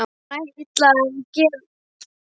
Hann ætli að gera það fyrir mig.